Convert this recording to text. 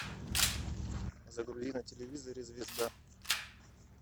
загрузи на телевизоре звезда